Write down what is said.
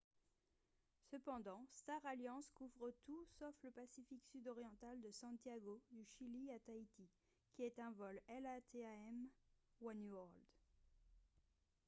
cependant star alliance couvre tout sauf le pacifique sud oriental de santiago du chili à tahiti qui est un vol latam oneworld